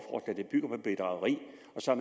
så